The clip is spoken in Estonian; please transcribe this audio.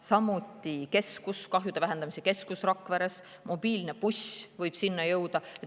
Samuti on kahjude vähendamise keskus Rakveres ja mobiilne buss võib sinna jõuda.